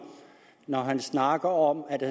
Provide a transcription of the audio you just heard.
når han snakker om at